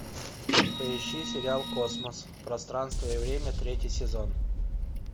поищи сериал космос пространство и время третий сезон